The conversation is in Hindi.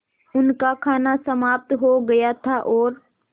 उनका खाना समाप्त हो गया था और